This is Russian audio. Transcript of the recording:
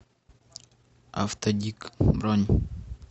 автодик бронь